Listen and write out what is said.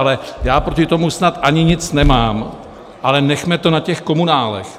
Ale já proti tomu snad ani nic nemám, ale nechme to na těch komunálech.